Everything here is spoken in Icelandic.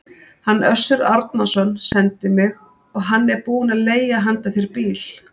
Hann Össur Árnason sendi mig, og hann er búinn að leigja handa þér bíl.